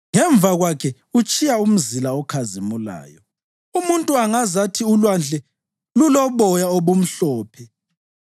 Ngemva kwakhe utshiya umzila okhazimulayo; umuntu angazathi ulwandle luloboya obumhlophe.